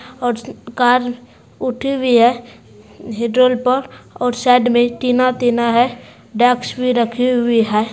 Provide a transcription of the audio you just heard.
और चित्त - कार उठी हुई है ह्य्द्रौल पर और साइड में टीना टीना है डेक्स भी रखी हुई है।